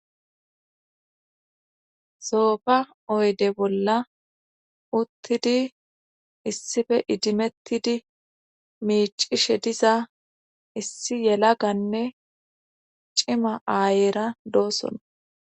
Soofa oyde bolla uttidi issife idimettidi miicishe diza issi yela ganne cima aayeera dooson.